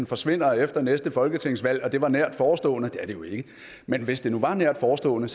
forsvinder efter næste folketingsvalg og det var nært forestående det er det jo ikke men hvis det nu var nært forestående